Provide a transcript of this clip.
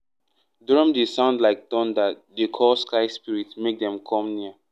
drum dey sound like thunder dey call sky spirit make dem come near.